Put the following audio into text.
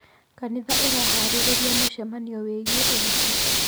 Kanitha ĩharĩrĩrie mũcemanio wĩgiĩ ũhiki.